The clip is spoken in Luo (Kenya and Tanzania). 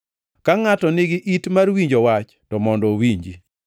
Ka ngʼato nigi it mar winjo wach to mondo owinji.”